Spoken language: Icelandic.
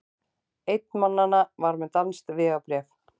Einn mannanna var með danskt vegabréf